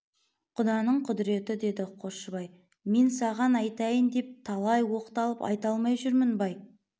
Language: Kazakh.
құданың құдіреті деді қосшыбай мен саған айтайын деп талай оқтанып айта алмай жүрмін бай